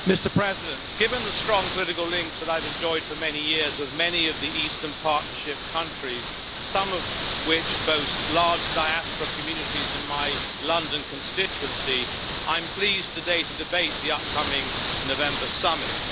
Mr President, given the strong political links that I have enjoyed for many years with many of the Eastern Partnership countries, some of which boast large diaspora communities in my London constituency, I am pleased today to debate the upcoming November summit.